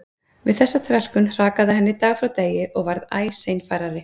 Við þessa þrælkun hrakaði henni dag frá degi og varð æ seinfærari.